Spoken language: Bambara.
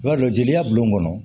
I b'a dɔn jeliya bulon kɔnɔ